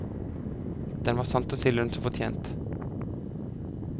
Den var sant å si lønn som fortjent.